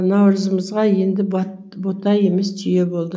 наурызымызға енді бота емес түйе болды